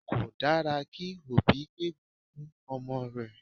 Kò dára kí òbí gégùn-ún fún ọmọ rẹ̀